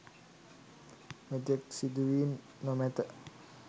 මෙතෙක් සිදූ වී නොමැත